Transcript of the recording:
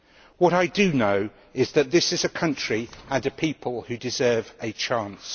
What I do know is that this country and its people deserve a chance.